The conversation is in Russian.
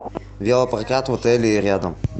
велопрокат в отеле и рядом